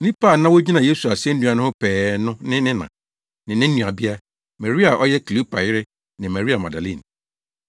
Nnipa a na wogyina Yesu asennua no ho pɛɛ no ne ne na, ne na nuabea, Maria a ɔyɛ Kleopa yere ne Maria Magdalene.